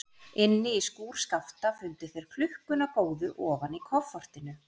Inni í skúr Skapta fundu þeir klukkuna góðu ofan í koffortinu.